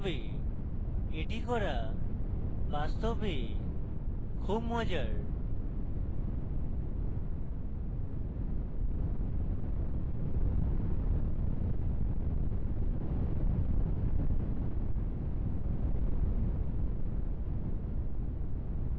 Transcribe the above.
এটি করা বাস্তবে খুব মজার